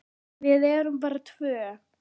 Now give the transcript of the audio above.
Við erum bara tvö.